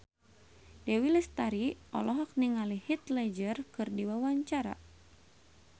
Dewi Lestari olohok ningali Heath Ledger keur diwawancara